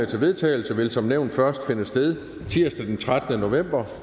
til vedtagelse vil som nævnt først finde sted tirsdag den trettende november